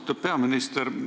Austatud peaminister!